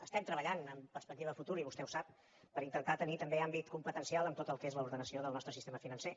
estem treballant amb perspectiva de futur i vostè ho sap per intentar tenir també àmbit competencial en tot el que és l’ordenació del nostre sistema financer